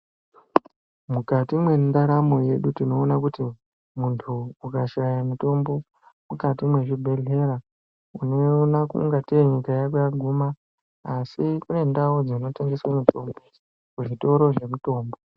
Mukati mwendaramo yedu tinoona kuti muntu ukashaya mutombo mukati mwezvibhehlera unoona kungatei nyika yako yaguma asi kune ndau dzinotengeswe mitombo kuzvitoro zvemitombo.